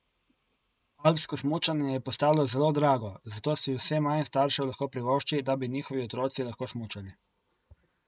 Alpsko smučanje je postalo zelo drago, zato si vse manj staršev lahko privošči, da bi njihovi otroci lahko smučali.